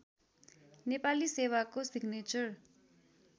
नेपाली सेवाको सिग्नेचर